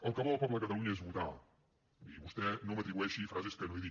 el que vol el poble de catalunya és votar i vostè no m’atribueixi frases que no he dit